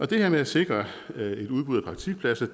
det her med at sikre et udbud af praktikpladser